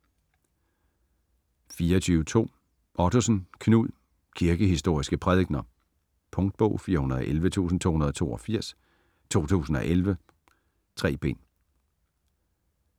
24.2 Ottosen, Knud: Kirkehistoriske prædikener Punktbog 411282 2011. 3 bind.